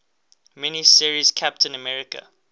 mini series captain america